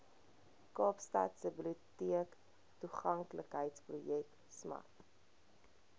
kaapstadse biblioteektoeganklikheidsprojek smart